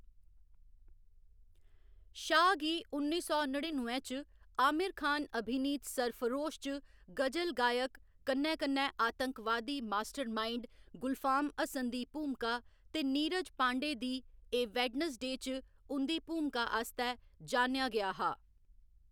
शाह गी उन्नी सौ नड़िनुए च आमिर खान अभिनीत सरफरोश च गजल गायक कन्नै कन्नै आतंकवादी मास्टरमाइंड गुलफाम हसन दी भूमका ते नीरज पांडे दी ए वेड्न्सडे च उं'दी भूमका आस्तै जानेआ गेआ हा।